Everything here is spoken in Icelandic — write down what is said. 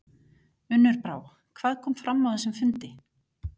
Unnur Brá, hvað kom fram á þessum fundi?